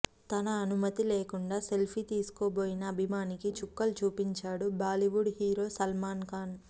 తన అనుమతి లేకుండా సెల్ఫీ తీసుకోబోయిన అభిమానికి చుక్కలు చూపించాడు బాలీవుడ్ హీరో సల్మాన్ ఖాన్